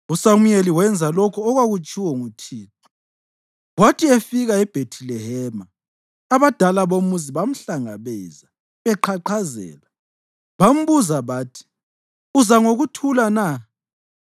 USamuyeli wenza lokho okwakutshiwo nguThixo. Kwathi efika eBhethilehema abadala bomuzi bamhlangabeza beqhaqhazela. Bambuza bathi, “Uza ngokuthula na?”